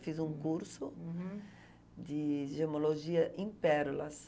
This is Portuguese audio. Fiz um curso de gemologia em pérolas.